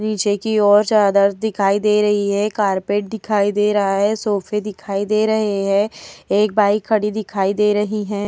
पीछे की ओर चादर दिखाई दे रही है। कारपेट दिखाई दे रहा है। सोफे दिखाई दे रहे हैं। एक बाइक खड़ी दिखाई दे रही है।